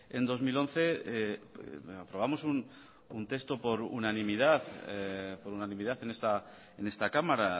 en dos mil once aprobamos un texto por unanimidad en esta cámara